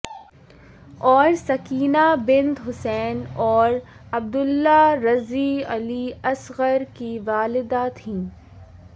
اور سکینہ بنت حسین اور عبداللہ رضیع علی اصغر کی والدہ تھیں